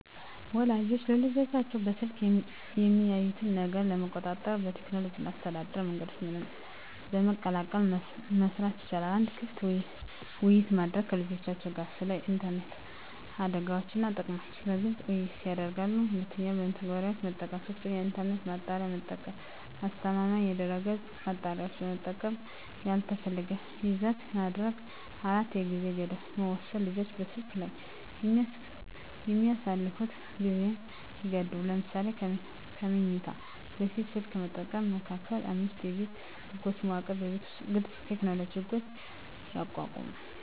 ወላጆች ልጆቻቸው በስልክ ላይ የሚያዩትን ነገር ለመቆጣጠር በቴክኖሎጂ እና በአስተዳደር መንገዶች በመቀላቀል መስራት ይቻላል። 1. ክፍት ውይይት ማድረግ ከልጆችዎ ጋር ስለ ኢንተርኔት አደጋዎች እና ጥቅሞች በግልፅ ውይይት ያድርጉ። 2. መተግበሪያዎች መጠቀም 3. የኢንተርኔት ማጣሪያ መጠቀም አስተማማኝ የድህረገፅ ማጣሪያዎችን በመጠቀም ያልተፈለገ ይዘት ማገድ 4. የጊዜ ገደብ መወሰን ልጆች በስልክ ላይ የሚያሳልፉትን ጊዜ ይገድቡ። ለምሳሌ ከመኝታ በፊት ስልክ መጠቀም መከልከል። 5የቤት ህጎች መዋቅር በቤት ውስጥ ግልፅ የቴክኖሎጂ ህጎች ያቋቁሙ።